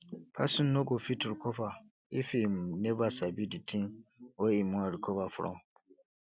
person no go fit recover if im never sabi di thing wey im wan recover from